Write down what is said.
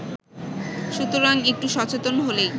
সুতরাং একটু সচেতন হলেই